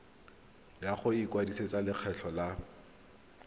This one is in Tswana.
ya go ikwadisetsa lekgetho la